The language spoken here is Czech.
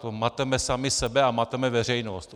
To mateme sami sebe a mateme veřejnost.